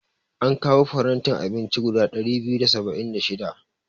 An kawo farantin abinci guda ɗari biyu da saba'in da shida.